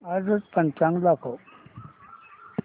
आजचं पंचांग दाखव